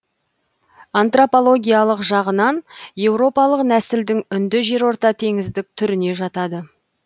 антропологиялық жағынан еуропалық нәсілдің үнді жерортатеңіздік түріне жатады